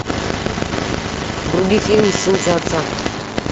вруби фильм сын за отца